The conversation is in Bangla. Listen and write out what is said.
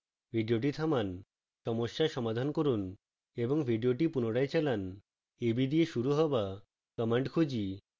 video থামান সমস্যা সমাধান করুন এবং video পুনরায় চালান